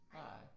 Nej